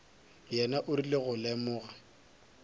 yena o rile go lemoga